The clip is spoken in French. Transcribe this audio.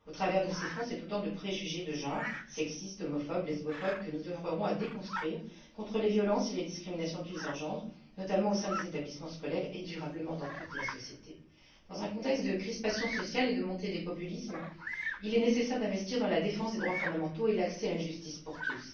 Au travers de ces fonds, c'est autant de préjugés de genre, sexistes, homophobes, lesbophobes, que nous oeuvrerons à déconstruire pour lutter contre les violences et les discriminations qu'ils engendrent, notamment au sein des établissements scolaires et durablement dans toute la société. Dans un contexte de crispation sociale et de montée des populismes, il est nécessaire d'investir dans la défense des droits fondamentaux et l'accès à une justice pour tous.